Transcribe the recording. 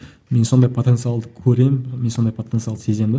мен сондай потенциалды көремін мен сондай потенциалды сеземін де